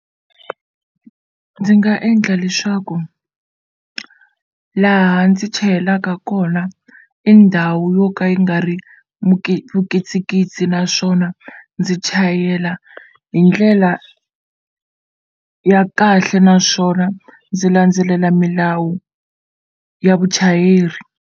Ndzi nga endla leswaku laha ndzi chayelaka kona i ndhawu yo ka yi nga ri vukitsikitsi naswona ndzi chayela hi ndlela ya kahle naswona ndzi landzelela milawu ya vuchayeri.